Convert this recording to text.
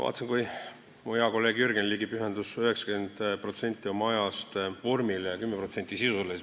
Vaatasin, kui mu hea kolleeg Jürgen Ligi pühendas 90% oma ajast vormile ja 10% sisule.